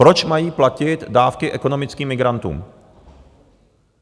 Proč mají platit dávky ekonomickým migrantům?